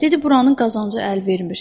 Dedi buranın qazancı əl vermir.